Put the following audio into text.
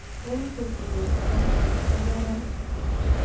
Eng' keturek Falcon ko karan